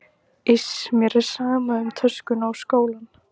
Iss, mér er alveg sama um töskuna og skólann